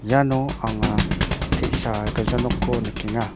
iano anga te·sa gilja nokko nikenga.